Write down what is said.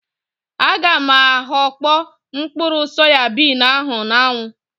A ga m aghakpo mkpụrụ soyabin ahụ na-anwu